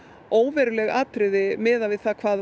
óveruleg atriði miðað við það hvað